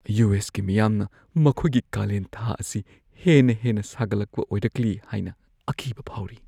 U. S. ꯀꯤ ꯃꯤꯌꯥꯝꯅ ꯃꯈꯣꯏꯒꯤ ꯀꯥꯂꯦꯟ ꯊꯥ ꯑꯁꯤ ꯍꯦꯟꯅ ꯍꯦꯟꯅ ꯁꯥꯒꯠꯂꯛꯄ ꯑꯣꯏꯔꯛꯂꯤ ꯍꯥꯏꯅ ꯑꯀꯤꯕ ꯐꯥꯎꯔꯤ ꯫